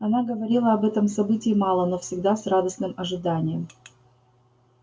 она говорила об этом событии мало но всегда с радостным ожиданием